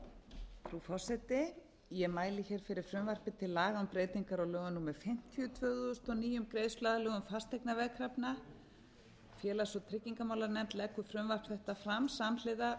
frú forseti ég mæli hér fyrir frumvarpi til laga um breytingar á lögum númer fimmtíu tvö þúsund og níu um greiðsluaðlögun fasteignaveðkrafna félags og tryggingamálanefnd leggur frumvarp þetta fram samhliða